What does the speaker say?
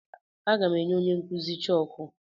Aga m enye onye nkụzi chọọkụ.